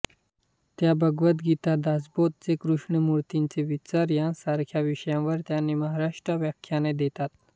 त्या भगवद्गीता दासबोध जे कृ्ष्णमूर्तीचे विचार यांसारख्या विषयांवर त्यांनी महाराष्ट्रात व्याख्याने देतात